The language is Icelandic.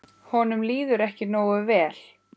Honum líður ekki nógu vel.